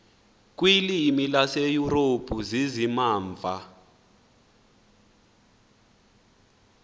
kwiilwimi zaseyurophu zizimamva